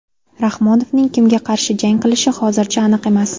Rahmonovning kimga qarshi jang qilishi hozircha aniq emas.